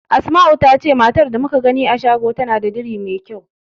Asma'u ta ce matar da muka gani a shago tana da diri mai kyau.